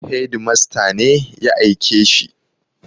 Hedimasta ne ya aike shi.